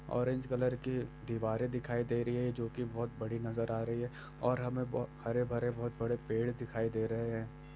Orange colour की दीवारें दिखाई दे रही है जो की बहुत बड़ी नजर आ रही है और हमे बहु-- हरे- भरे बहुत बड़े पेड़ दिखाई दे रहे हैं।